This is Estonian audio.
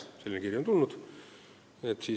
Selline kiri on meile tulnud.